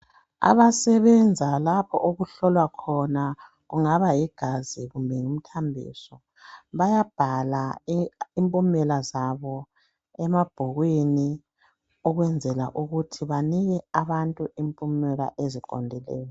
Abasebenza lapho okuhlolwa khona kungaba yigazi kumbe yimthambiso bayabhala imiklomela zabo emabhukwini Ukwenzela ukuthi banike abantu impumela eziqondileyo